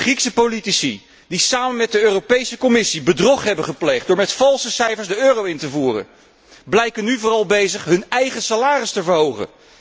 de Griekse politici die samen met de Europese Commissie bedrog hebben gepleegd door met valse cijfers de euro in te voeren, blijken nu vooral bezig hun eigen salaris te verhogen.